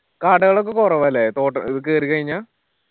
കടകളൊക്കെ കൊറവാ ല്ലേ തൊട്ട ഇത് കേറി കയിഞ്ഞ